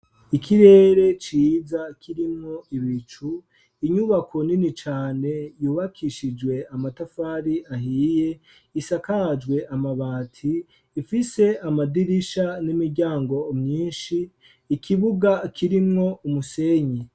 Ikirere ciza kirimwo ibicu inyubako nini cane yubakishijwe amatafari ahiye isakajwe amabati ifise amadirisha n'imiryango myinshi, ikibuga kirimwo umusenyi.